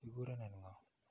Ki kurenen ng'o?